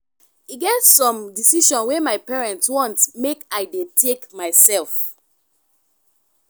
e get some decision wey my parents want make i dey take mysef.